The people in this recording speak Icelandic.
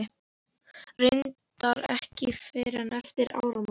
Reyndar ekki fyrr en eftir áramót.